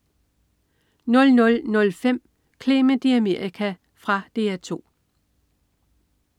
00.05 Clement i Amerika. Fra DR 2